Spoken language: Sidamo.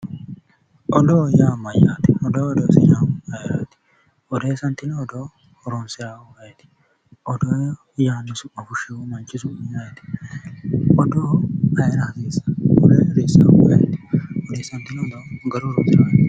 Odoo yaa mayyaate? Odoo odeessinayiihu ayeeraati? Odeessantino odoo horonsiraahu ayeeti? Odoo yaanno su'ma fushshinohu manchi su'mi ayeeti? odoo ayeera hasiissanno? Odeessaahu ayeeti? Odeessantino odoo garuyi horonsiraahu